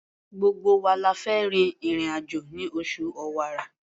Gbogbo wa la fẹ́ rin ìrìn-àjò ní oṣù Ọ̀wàrà.